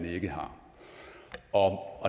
ikke har og